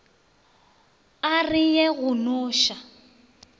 a re ye go noša